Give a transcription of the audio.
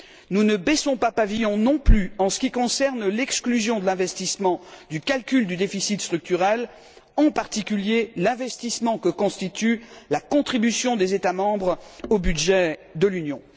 Nous ne baissons pas pavillon non plus en ce qui concerne l'exclusion des investissements du calcul du déficit structurel, en particulier de l'investissement que constitue la contribution des États membres au budget de l'Union.